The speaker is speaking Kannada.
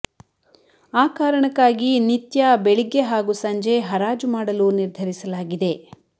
ಆ ಕಾರಣಕ್ಕಾಗಿ ನಿತ್ಯ ಬೆಳಿಗ್ಗೆ ಹಾಗೂ ಸಂಜೆ ಹರಾಜು ಮಾಡಲು ನಿರ್ಧರಿಸಲಾಗಿದೆ